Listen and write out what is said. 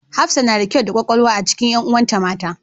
Hafsa na da kyau da ƙwaƙwalwa a cikin ƴanuwan ta mata.